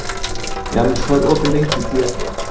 Janus, hvað er opið lengi í Tíu ellefu?